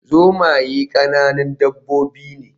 Zomaye ƙananan dabbobi ne